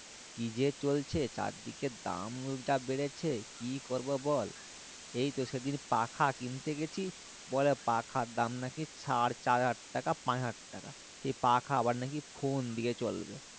কি যে চলছে চারদিকে দাম যা বেড়েছে কি করবো বল এই তো সেদিন পাখা কিনতে গেছি বলে পাখার দাম নাকি সাড়েচার হাজার টাকা পাঁচ হাজার টাকা সেই পাখা আবার নাকি phone দিয়ে চলবে